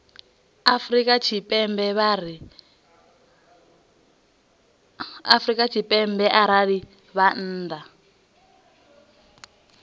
afrika tshipembe arali vha nnḓa